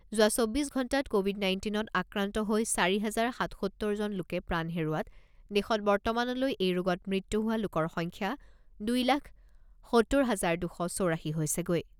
যোৱা চৌব্বিছ ঘণ্টাত ক’ভিড নাইণ্টিনত আক্ৰান্ত হৈ চাৰি হাজাৰ সাতসত্তৰ জন লোকে প্ৰাণ হেৰুওৱাত দেশত বৰ্তমানলৈ এই ৰোগত মৃত্যু হোৱা লোকৰ সংখ্যা দুই লাখ সত্তৰ হাজাৰ দুশ চৌৰাশী হৈছেগৈ।